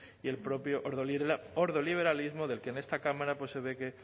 y el propio ordoliberalismo del que en esta cámara pues se ve que